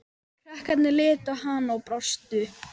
Krakkarnir litu á hana og brostu.